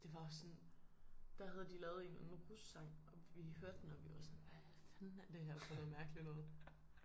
Det var også sådan der havde de lavet en eller anden russang og vi hørte den og vi var sådan hvad fanden er det her for noget mærkeligt noget